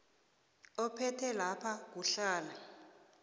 ophethe lapha kuhlala